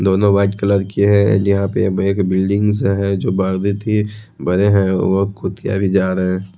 दोनों white colour की है एन्ड यहां पे एक बिल्डिंग सा है जो बांधी थी बंधे है एक कुतिया भी जा रहा है।